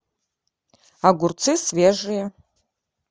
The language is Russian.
огурцы свежие